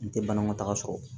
N tɛ banakɔtaga sɔrɔ